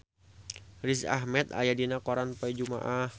Riz Ahmed aya dina koran poe Jumaah